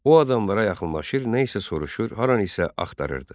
O adamlara yaxınlaşır, nə isə soruşur, haranı isə axtarırdı.